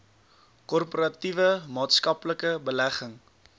korporatiewe maatskaplike belegging